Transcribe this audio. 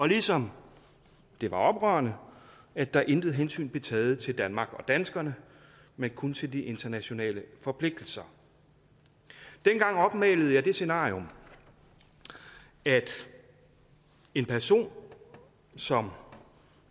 ligesom det var oprørende at der intet hensyn blev taget til danmark og danskerne men kun til de internationale forpligtelser dengang opmalede jeg det scenarium at en person som